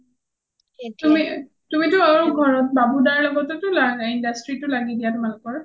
তুমিটো ঘৰত বাবু দাৰ লগতও industry ত ও লাগি দিয়া তোমালোকৰ ?